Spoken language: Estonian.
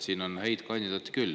Siin on häid kandidaate küll.